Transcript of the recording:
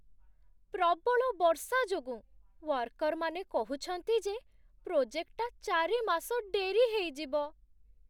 ପ୍ରବଳ ବର୍ଷା ଯୋଗୁଁ, ୱାର୍କର୍‌ମାନେ କହୁଛନ୍ତି ଯେ ପ୍ରୋଜେକ୍ଟଟା ଚାରି ମାସ ଡେରି ହେଇଯିବ ।